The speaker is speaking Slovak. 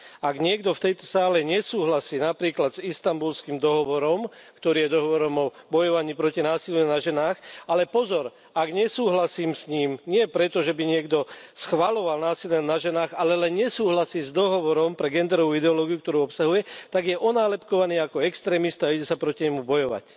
Ak niekto v tejto sále nesúhlasí napríklad s Istanbulským dohovorom, ktorý je dohovorom o bojovaní proti násiliu na ženách ale pozor, ak s ním nesúhlasí nie preto, že by schvaľoval násilie na ženách, ale len nesúhlasí s dohovorom pre genderovú ideológiu, ktorú obsahuje tak je onálepkovaný ako extrémista a ide sa proti nemu bojovať.